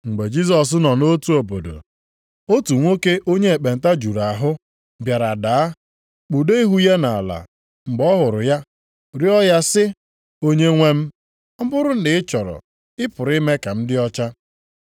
Mgbe Jisọs nọ nʼotu obodo, otu nwoke onye ekpenta juru ahụ, bịara daa, kpudo ihu ya nʼala mgbe ọ hụrụ ya, rịọ ya sị, “Onyenwe m, ọ bụrụ na ị chọrọ, ị pụrụ ime ka m dị ọcha.”